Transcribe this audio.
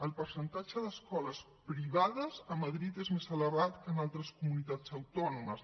el percentatge d’escoles privades a madrid és més elevat que en altres comunitats autònomes